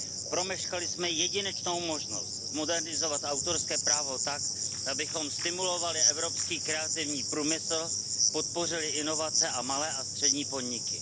Promeškali jsme jedinečnou možnost zmodernizovat autorské právo tak, abychom stimulovali evropský kreativní průmysl, podpořili inovace a malé a střední podniky.